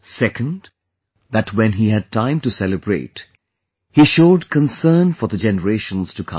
Second that when he had time to celebrate, he showed concern for the generations to come